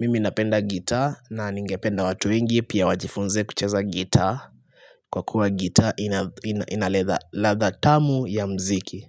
Mimi napenda gitaa na ningependa watu wengi pia wajifunze kucheza gitaa Kwa kuwa gitaa inaladha tamu ya mziki.